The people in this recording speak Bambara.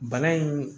Bana in